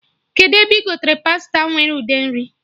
Kedụ ebe ị gotere pasta nwere ude nri?